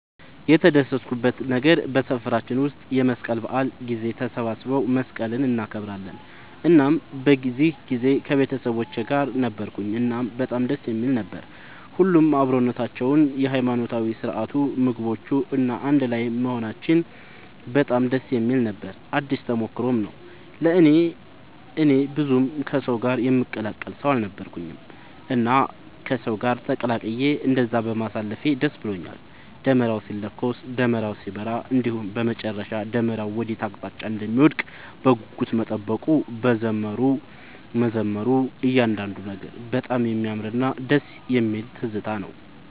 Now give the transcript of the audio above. የተደሰትኩበት ነገር በሰፈራችን ውስጥ የመስቀል በዓል ጊዜ ተሰባስበው መስቀልን እናከብራለን እናም በዚህ ጊዜ ከቤተሰቦቼ ጋር ነበርኩኝ እናም በጣም ደስ የሚል ነበር። ሁሉም አብሮነታቸው፣ የሃይማኖታዊ ስርዓቱ፣ ምግቦቹ፣ እና አንድ ላይም መሆናችን በጣም ደስ የሚል ነበር ነው። አዲስ ተሞክሮም ነው ለእኔ። እኔ ብዙም ከሰው ጋር የምቀላቀል ሰው አልነበርኩኝም እና ከሰው ጋር ተቀላቅዬ እንደዛ በማሳለፌ ደስ ብሎኛል። ደመራው ሲለኮስ፣ ደመራው ሲበራ እንዲሁም በመጨረሻ ደመራው ወዴት አቅጣጫ እንደሚወድቅ በጉጉት መጠበቁ፣ መዘመሩ እያንዳንዱ ነገር በጣም የሚያምርና ደስ የሚል ትዝታ ነው።